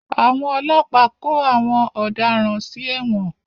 Àwọn ọlọ́pàá kó àwọn ọ̀daràn sí ẹ̀wọ̀n.